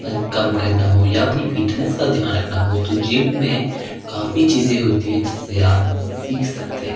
कम करना हो या अपनी फिटनेस का ध्यान रखना हो तो जिम में काफी चीजें होती है जिससे आप सीख सकते हो।